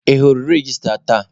Ị hụrụ registra tata?